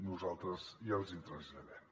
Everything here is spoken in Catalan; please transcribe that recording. nosaltres ja els hi traslladem